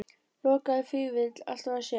Lokaði Vífill alltaf að sér?